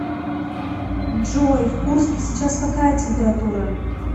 джой в курске сейчас какая температура